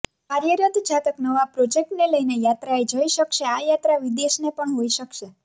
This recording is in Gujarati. કાર્યરત જાતક નવા પ્રોજેક્ટને લઈને યાત્રાએ જઇ શકશે આ યાત્રા વિદેશ ને પણ હોઈ શકશે